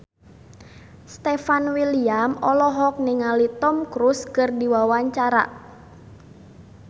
Stefan William olohok ningali Tom Cruise keur diwawancara